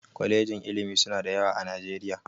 Kwalejin ilimi suna da yawa a Najeriya